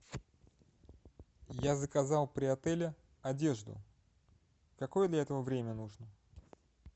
я заказал при отеле одежду какое для этого время нужно